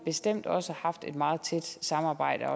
bestemt også har haft et meget tæt samarbejde